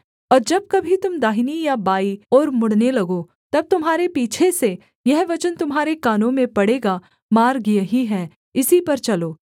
और जब कभी तुम दाहिनी या बायीं ओर मुड़ने लगो तब तुम्हारे पीछे से यह वचन तुम्हारे कानों में पड़ेगा मार्ग यही है इसी पर चलो